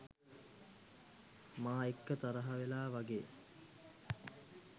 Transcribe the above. මා එක්ක තරහ වෙලා වගේ